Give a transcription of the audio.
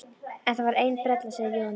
En það var ein brella, segir Jóhannes.